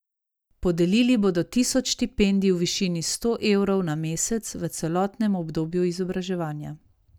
Podelili bodo tisoč štipendij v višini sto evrov na mesec v celotnem obdobju izobraževanja.